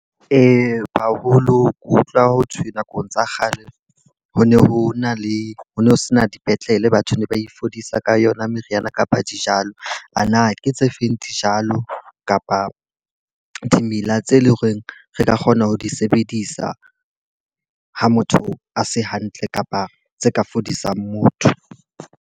Haholo ke utlwa ho thwe nakong tsa kgale ho ne ho na le ho no sena dipetlele, batho ne ba ifodisa ka yona meriana kapa dijalo. A na ke tse feng dijalo kapa dimela tse leng horeng re ka kgona ho di sebedisa ha motho a se hantle kapa tse ka fodisang motho?